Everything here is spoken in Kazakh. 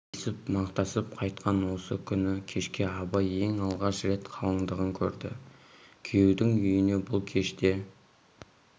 десіп мақтасып қайтқан осы күні кешке абай ең алғаш рет қалыңдығын көрді күйеудің үйіне бұл кеште